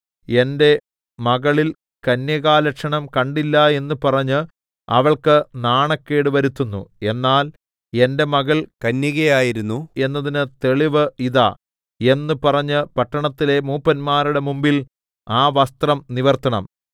എന്റെ മകളിൽ കന്യകാലക്ഷണം കണ്ടില്ല എന്ന് പറഞ്ഞ് അവൾക്ക് നാണക്കേട് വരുത്തുന്നു എന്നാൽ എന്റെ മകൾ കന്യകയായിരുന്നു എന്നതിന് തെളിവ് ഇതാ എന്ന് പറഞ്ഞ് പട്ടണത്തിലെ മൂപ്പന്മാരുടെ മുമ്പിൽ ആ വസ്ത്രം നിവർത്തണം